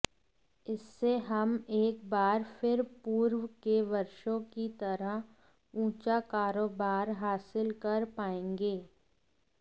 इससे हम एक बार फिर पूर्व के वर्षों की तरह ऊंचा कारोबार हासिल कर पाएंगे